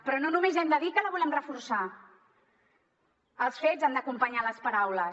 però no només hem de dir que la volem reforçar els fets han d’acompanyar les paraules